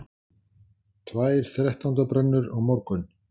Tvær þrettándabrennur á morgun